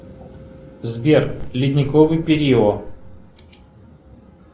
сбер ледниковый период